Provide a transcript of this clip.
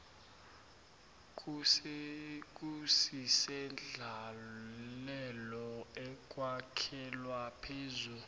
kusisendlalelo ekwakhelwa phezu